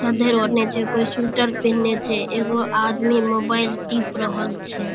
ओढ़ले छै. कोय सूटर पहनएले छै एगो आदमी मोबाइल टिप रहल छै ।